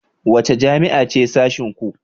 Wace jami'a ce sashenku?